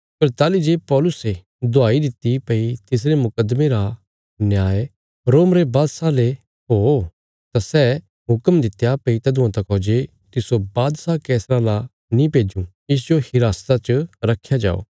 पर ताहली जे पौलुसे दुहाई दित्ति भई तिसरे मुकद्दमे रा न्याय रोम रे बादशाह ले हो तां मैं हुक्म दित्या भई तदुआं तका जे तिस्सो बादशाह कैसरा ला नीं भेजूँ इसजो हिरासता च रख्या जाओ